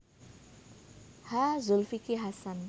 H Zulkifli Hasan